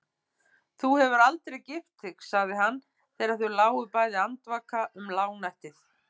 Þú hefur aldrei gift þig, sagði hann þegar þau lágu bæði andvaka um lágnættið.